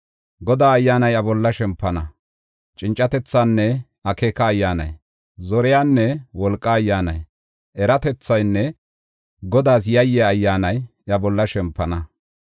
Godaa Ayyaanay iya bolla shempana; cincatethaanne akeeka Ayyaanay, zoriyanne wolqaa Ayyaanay, eratethaanne Godaas yayiya Ayyaanay, iya bolla shempana.